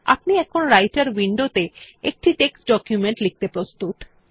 আপনি এখন রাইটের উইন্ডোতে একটি টেক্সট ডকুমেন্ট লিখতে প্রস্তুত